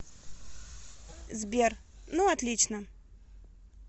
сбер ну отлично